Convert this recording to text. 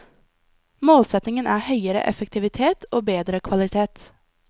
Målsetningen er høyere effektivitet og bedre kvalitet.